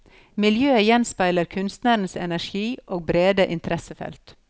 Miljøet gjenspeiler kunstnerens energi og brede interessefelt.